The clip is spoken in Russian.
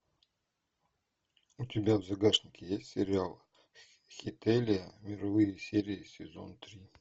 у тебя в загашнике есть сериал хеталия мировые серии сезон три